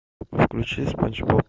включи спанч боб